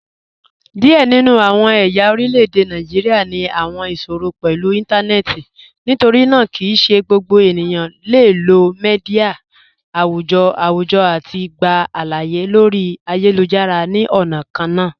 Diẹ ninu awọn ẹ̀ya orilẹ̀-èdè Nàìjíríà ni awọn iṣòrọ̀ pẹ̀lú intanẹẹti, nítorínaa kí í ṣẹ̀ gbogbo ènìyàn le lọ̀ míḍíà awùjọ́ awùjọ̀ àti gbà aláàyè lórí ayélujára ni ọna kànna.